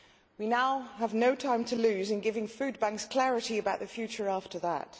We now have no time to lose in giving food banks clarity about the future after that.